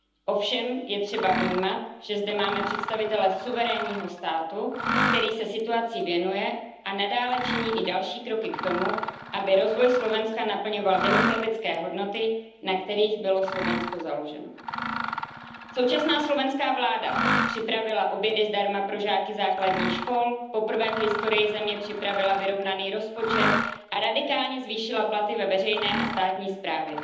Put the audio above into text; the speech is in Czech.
Ovšem je třeba vnímat, že zde máme představitele suverénního státu, který se situaci věnuje a nadále činí i další kroky k tomu, aby rozvoj Slovenska naplňoval demokratické hodnoty, na kterých bylo Slovensko založeno. Současná slovenská vláda připravila obědy zdarma pro žáky základních škol, poprvé v historii země připravila vyrovnaný rozpočet a radikálně zvýšila platy ve veřejné a státní správě.